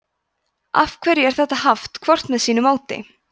af hverju er þetta haft hvort með sínu móti